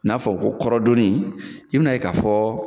N'a fɔ ko kɔrɔdɔni i bin'a ye k'a fɔ